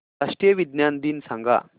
राष्ट्रीय विज्ञान दिन सांगा